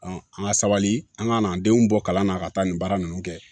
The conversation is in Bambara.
an ka sabali an ka n'an denw bɔ kalan na ka taa nin baara ninnu kɛ